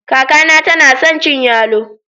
Kaka na tana son cin yallo.